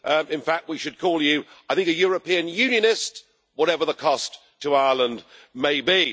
In fact, we should call you, I think, a European Unionist whatever the cost to Ireland may be.